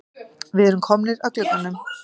Við erum komnir að glugganum.